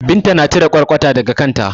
Binta na cire ƙwarƙwata daga kanta.